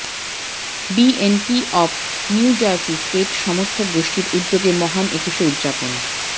BNP of New Jersey state সমর্থক গোষ্ঠীর উদ্যোগে মহান একুশে উদযাপন